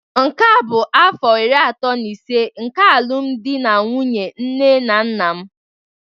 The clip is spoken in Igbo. Nke a bụ afọ iri atọ na ise nke alụmdi na nwunye nne na nna m